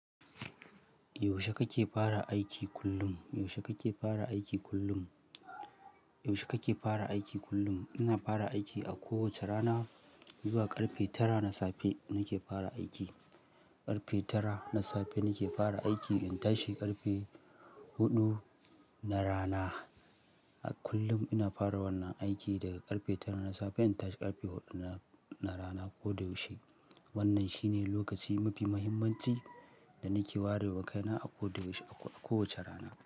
Yaushe kake fara aiki kullum? Yaushe kake fara aiki kullum? Yaushe kake fara aiki kullum? Ina fara aiki a kowace rana zuwa ƙarfe tara na safe nake fara aiki. Ƙarfe tara na safe nake fara aiki in tashi ƙarfe huɗu na rana. A kullum ina fara wannan aiki daga ƙarfe tara na safe in tashi ƙarfe huɗu na rana ko da yaushe. Wannan shine lokaci mafi muhimmanci da nake warewa kaina a ko da yaushe, a kowace rana.